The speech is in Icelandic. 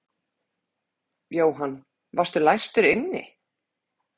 Jóhann: Varstu læstur inni?